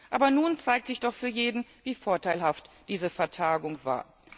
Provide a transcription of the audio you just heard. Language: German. Aber nun zeigt sich doch für jeden, wie vorteilhaft diese Vertagung war.